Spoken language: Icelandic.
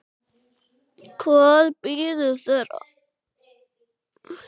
Hvað bíður þeirra?